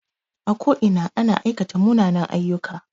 A ko ina ana aikata munanen aiyyuka